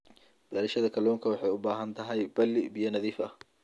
Beerashada kalluunka waxay u baahan tahay balli biyo nadiif ah.